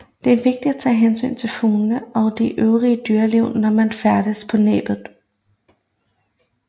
Det er vigtigt at tage hensyn til fuglene og det øvrige dyreliv når man færdes på Næbbet